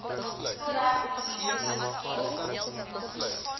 totdat posisies gevul